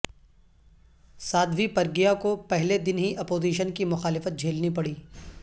سادھوی پرگیہ کو پہلے دن ہی اپوزیشن کی مخالفت جھیلنی پڑی